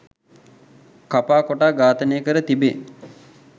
කපා කොටා ඝාතනය කර තිබේ